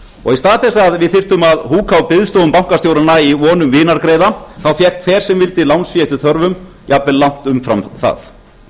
og í stað þess að við þyrftum að húka á biðstofum bankastjóranna í von um vinargreiða þá fékk hver sem vildi lánsfé eftir þörfum jafnvel langt umfram það